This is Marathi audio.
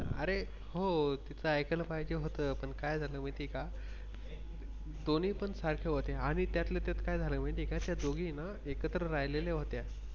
अरे हो तिथं ऐकायला पाहिजे होतं पण काय झालं माहिती का? दोन्ही पण सारखे होते आणि त्यातले त्यात काय झालं माहिती आहे का त्या दोघींना एकत्र राहिलेले होत्या.